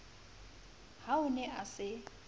ha o ne a se